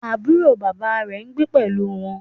Àbúrò bàbá rẹ̀ n gbé pẹ̀lú wọn